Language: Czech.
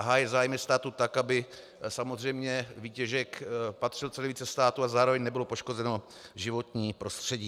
A hájit zájmy státu tak, aby samozřejmě výtěžek patřil co nejvíce státu a zároveň nebylo poškozeno životní prostředí.